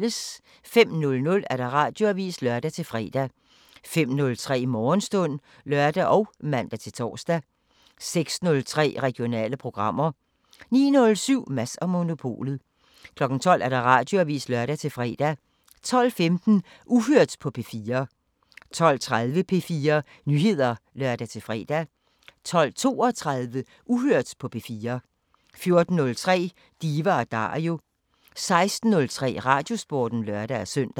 05:00: Radioavisen (lør-fre) 05:03: Morgenstund (lør og man-tor) 06:03: Regionale programmer 09:07: Mads & Monopolet 12:00: Radioavisen (lør-fre) 12:15: Uhørt på P4 12:30: P4 Nyheder (lør-fre) 12:32: Uhørt på P4 14:03: Diva & Dario 16:03: Radiosporten (lør-søn)